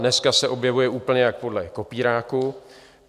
Dneska se objevuje úplně jak podle kopíráku.